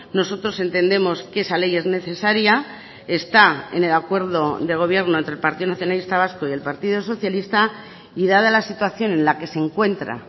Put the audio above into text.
nosotros entendemos que esa ley es necesaria está en el acuerdo de gobierno entre el partido nacionalista vasco y el partido socialista y dada la situación en la que se encuentra